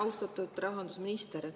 Austatud rahandusminister!